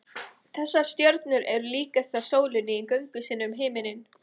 þessar stjörnur eru líkastar sólinni í göngu sinni um himininn